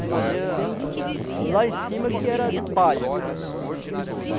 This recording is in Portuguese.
De madeira lá em cima que era de palha.